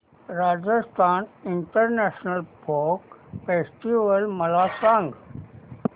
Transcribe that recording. Rajasthan international folk festival मला सांग